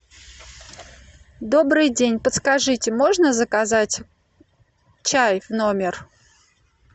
добрый день подскажите можно заказать чай в номер